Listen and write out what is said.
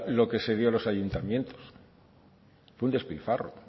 lo que se dio a los ayuntamientos fue un despilfarro